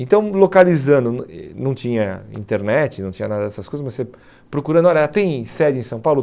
Então, localizando, não tinha internet, não tinha nada dessas coisas, mas você procurando, olha, tem sede em São Paulo?